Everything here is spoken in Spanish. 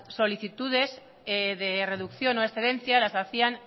solicitudes de reducción o excedencia las hacían